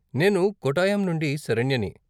నేను కోట్టాయం నుండి శరణ్యని.